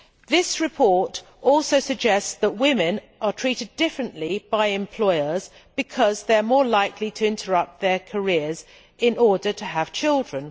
This report also suggests that women are treated differently by employers because they are more likely to interrupt their careers in order to have children.